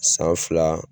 San fila